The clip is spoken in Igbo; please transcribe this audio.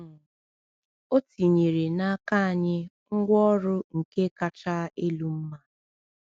um O tinyere n’aka anyị ngwaọrụ nke kacha elu mma.